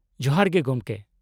-ᱡᱚᱦᱟᱨ ᱜᱮ ᱜᱚᱢᱠᱮ ᱾